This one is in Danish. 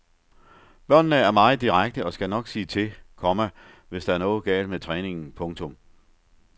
Børnene er meget direkte og skal nok sige til, komma hvis der er noget galt med træningen. punktum